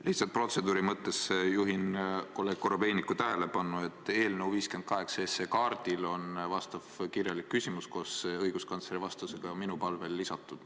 Lihtsalt protseduuri mõttes juhin kolleeg Korobeiniku tähelepanu sellele, et eelnõu 58 kaardile on minu kirjalik küsimus koos õiguskantsleri vastusega minu palvel lisatud.